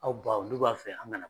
Aw baw , n''u b'a fɛ an ka na